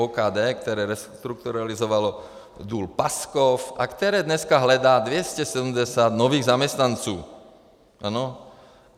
OKD, které restrukturalizovalo důl Paskov a které dneska hledá 270 nových zaměstnanců.